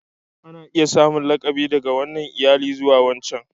Ana iya samun lakabi daga wannan iyali zuwa wancan.